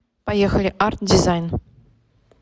поехали арт дизайн